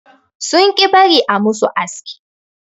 Sun ƙi bari a musu aski.